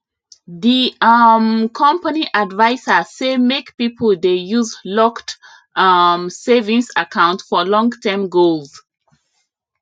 di um company adviser say make people dey use locked um savings account for longterm goals